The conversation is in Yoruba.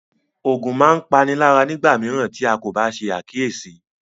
Ògùn máa ń páni lára nígbà mìíràn tí a kò bá ṣe àkíyèsí